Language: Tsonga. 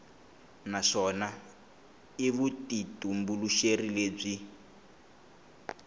naswona i ya vutitumbuluxeri lebyi